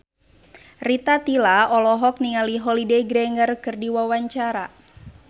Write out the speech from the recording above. Rita Tila olohok ningali Holliday Grainger keur diwawancara